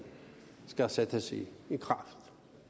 sættes i kraft